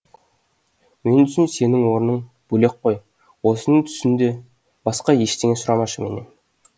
мен үшін сенің орның бөлек қой осыны түсін де басқа ештеңе сұрамашы менен